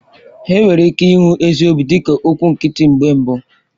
Enwere ike ịhụ ezi obi dịka okwụ nkịtị mgbe mbụ.